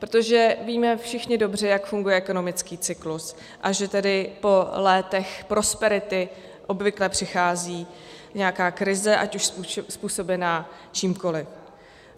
Protože víme všichni dobře, jak funguje ekonomický cyklus, a že tedy po létech prosperity obvykle přichází nějaká krize, ať už způsobená čímkoliv.